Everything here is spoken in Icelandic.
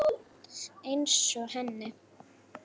Einsog henni.